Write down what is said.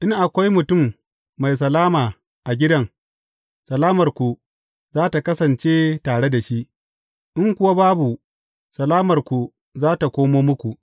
In akwai mutum mai salama a gidan, salamarku za tă kasance tare da shi, in kuwa babu, salamarku za tă koma muku.